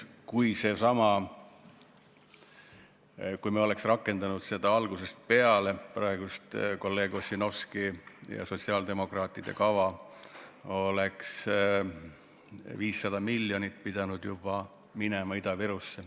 Kui me oleks rakendanud seda kolleeg Ossinovski ja sotsiaaldemokraatide kava algusest peale, oleks juba 500 miljonit pidanud Ida-Virusse minema.